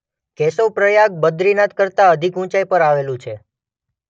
કેશવપ્રયાગ બદ્રીનાથ કરતાં અધિક ઊંચાઈ પર આવેલું છે.